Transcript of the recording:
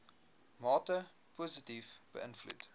mate positief beïnvloed